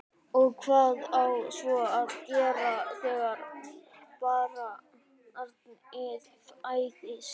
Og hvað á svo að gera þegar barnið fæðist?